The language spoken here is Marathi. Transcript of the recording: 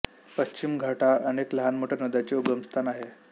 पश्चिम घाट हा अनेक लहान मोठ्या नद्यांचे उगमस्थान आहे